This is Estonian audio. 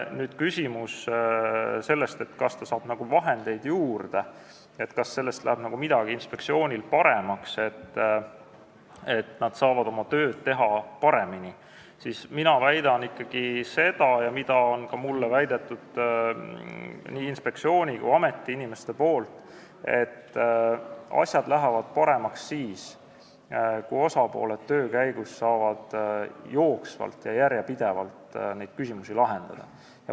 Kui küsida, kas ta saab vahendeid juurde ja kas sellest läheb midagi paremaks, kas inspektsioon saab oma tööd paremini teha, siis mina väidan ja mulle on väitnud nii inspektsiooni kui ka ameti inimesed, et asjad lähevad paremaks siis, kui osapooled saavad töö käigus jooksvalt ja järjepidevalt küsimusi lahendada.